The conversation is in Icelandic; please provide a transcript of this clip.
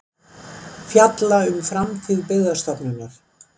Fjalla um framtíð Byggðastofnunar